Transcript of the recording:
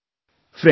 Friends,